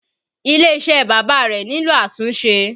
Ilé iṣẹ́ bàbá rẹ nílò àtúnṣe